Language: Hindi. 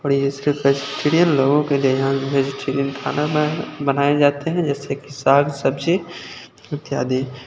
लोगों के लिए यहां वेजीटेरियन खाना में बनाए जाते हैं जैसे की साग सब्जी इत्यादि।